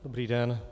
Dobrý den.